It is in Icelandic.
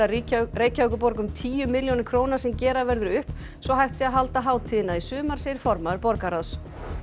Reykjavíkurborg um tíu milljónir króna sem gera verður upp svo hægt sé að halda hátíðina í sumar segir formaður borgarráðs